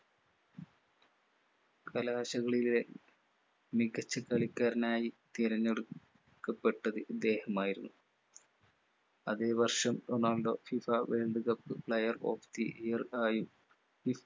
കലാശകളിലെ മികച്ച കളിക്കാരനായി തിരഞ്ഞെടുക്കപ്പെട്ടത് ഇദ്ദേഹമായിരുന്നു. അതെ വർഷം Ronaldo fifaworld cup player of the year ആയി